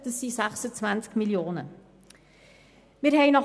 Es geht um 26 Mio. Franken.